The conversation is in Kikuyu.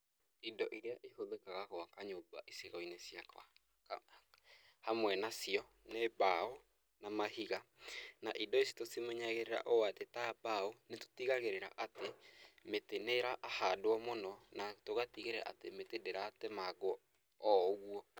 Indo iria ihũthĩkaga gwaka nyũmba icigo-inĩ ciakwa , hamwe na cio nĩ mbaũ na mahiga, na indo ici tũmenyagĩrĩra ũũ atĩ ta mbaũ nĩ tũtigagĩĩra atĩ mĩtĩ nĩ arahandwo mũno, na tũgatigĩrĩra atĩ mĩtĩ ndĩratemangwo o ũguo.